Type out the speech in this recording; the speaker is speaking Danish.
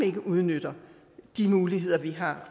ikke udnytter de muligheder vi har